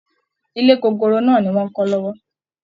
Ilé gogoro náà ni wọ́n ń kọ́ lọ́wọ́